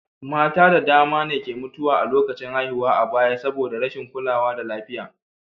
Mata da dama ne ke mutuwa a lokacin haihuwa a baya saboda rashin kulawa da lafiya.